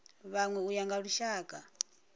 vhanwe u ya nga lushaka